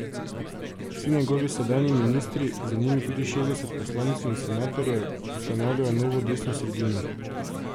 Vsi njegovi sedanji ministri, z njimi tudi šestdeset poslancev in senatorjev, ustanavljajo Novo desno sredino.